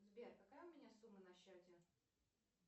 сбер какая у меня сумма на счете